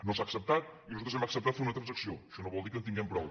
no s’ha acceptat i nosaltres hem acceptat fer una transacció això no vol dir que en tinguem prou